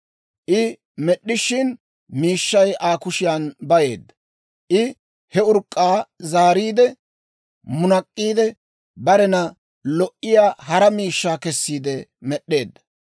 I med'd'ishina, miishshay Aa kushiyan bayeedda. I he urk'k'aa zaariide munak'k'iide, barena lo"iyaa hara miishshaa kessiide med'd'eedda.